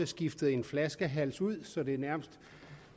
skiftet en flaskehals ud så det nærmest